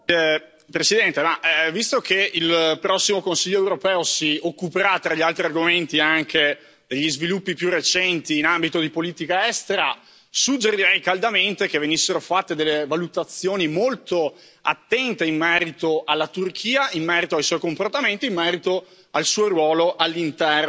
Signora Presidente, onorevoli colleghi, visto che il prossimo Consiglio europeo si occuperà, tra gli altri argomenti, anche degli sviluppi più recenti in ambito di politica estera, suggerirei caldamente che venissero fatte delle valutazioni molto attente in merito alla Turchia, in merito ai suoi comportamenti, in merito al suo ruolo all'interno